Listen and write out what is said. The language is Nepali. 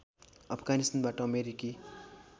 अफगानिस्तानबाट अमेरिकी